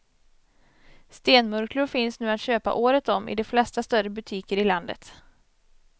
Stenmurklor finns nu att köpa året om i de flesta större butiker i landet.